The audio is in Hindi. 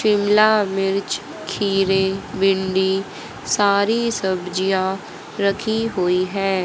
बिमला मिर्च खिरे भिंडी सारी सब्जियां रखी हुई है।